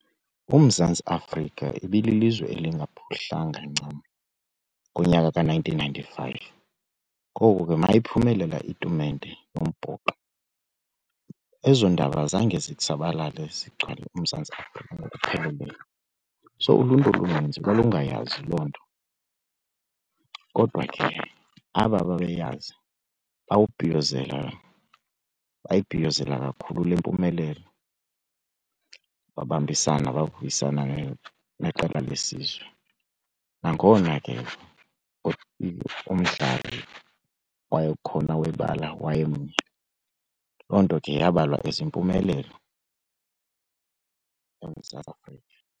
UMzantsi Afrika ibililizwe elingaphuhlanga ncam ngonyaka ka-nineteen ninety-five. Kgoku ke mayiphumelela itumente yombhoxo ezo ndaba zange zithsabalale zigcwale uMzantsi Afrika ngokupheleleyo, so uluntu oluninzi lalungayazi loo nto. Kodwa ke aba bebeyazi bawubhiyozela bayibhiyozela kakhulu le mpumelelo babambisana, bavuyisana neqela lesizwe. Nangona ke ekubeni umdlali wayekhona webala wayemnye, loo nto ke yabalwa as impumelelo eMzantsi Afrika.